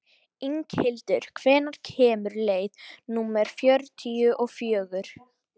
Inghildur, hvenær kemur leið númer fjörutíu og fjögur?